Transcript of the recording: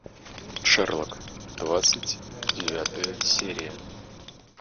шерлок двадцать девятая серия